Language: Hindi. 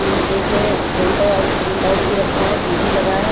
एक प्रिंटर आउट प्रिंट आउट भी रखा है टी_वी लगा है।